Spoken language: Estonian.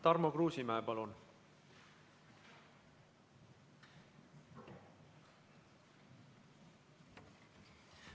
Tarmo Kruusimäe, palun!